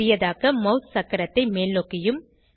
சிறியதாக்க mouse சக்கரத்தை மேல்நோக்கியும்